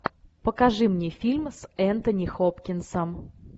покажи мне фильм с энтони хопкинсом